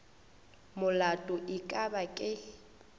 molato e ka ba ke